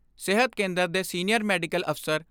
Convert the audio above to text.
ਸਿਹਤ ਕੇਂਦਰ ਦੇ ਸੀਨੀਅਰ ਮੈਡੀਕਲ ਅਫਸਰ ਡਾ.